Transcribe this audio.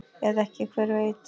Eða ekki, hver veit?